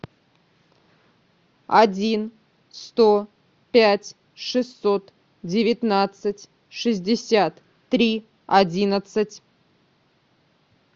один сто пять шестьсот девятнадцать шестьдесят три одиннадцать